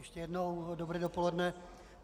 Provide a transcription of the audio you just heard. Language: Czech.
Ještě jednou dobré dopoledne.